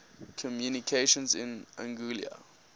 communications in anguilla